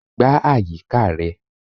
Gbá àyíká rẹ.